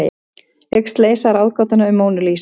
Hyggst leysa ráðgátuna um Mónu Lísu